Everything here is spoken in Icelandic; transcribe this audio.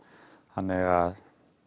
þannig að